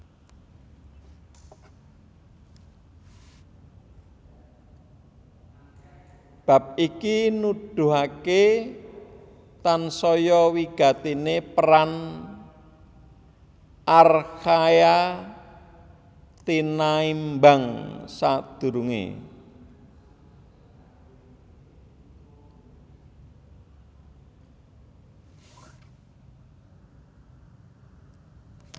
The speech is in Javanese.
Bab iki nuduhaké tansaya wigatiné peran archaea tinaimbang sadurungé